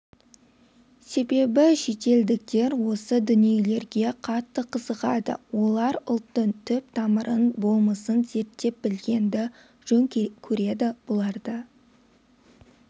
себебі шетелдіктер осы дүниелерге қатты қызығады олар ұлттың түп-тамырын болмысын зерттеп білгенді жөн көреді бұларды